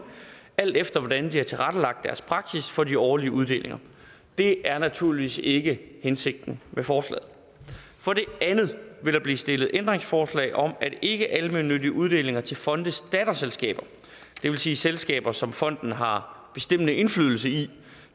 alt efter hvordan de har tilrettelagt deres praksis for de årlige uddelinger det er naturligvis ikke hensigten med forslaget for det andet vil der blive stillet ændringsforslag om at ikkealmennyttige uddelinger til fondes datterselskaber det vil sige selskaber som fonden har bestemmende indflydelse i